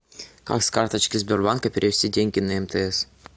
как с карточки сбербанка перевести деньги на мтс